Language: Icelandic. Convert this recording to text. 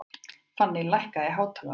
Fanný, lækkaðu í hátalaranum.